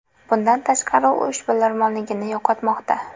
Bundan tashqari, u ishbilarmonligini yo‘qotmoqda.